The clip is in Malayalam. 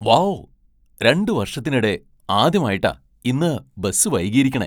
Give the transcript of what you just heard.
വൗ, രണ്ട് വർഷത്തിനിടെ ആദ്യമായിട്ടാ ഇന്ന് ബസ് വൈകിയിരിക്കണെ .